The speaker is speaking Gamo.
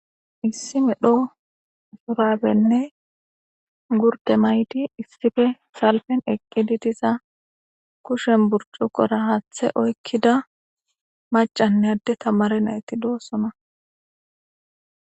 lssi medho surabenne gurde maydi issife salpen eqqidi diza kushen burcuqora haaththe oykkida macanne adde tamare nayti doossona.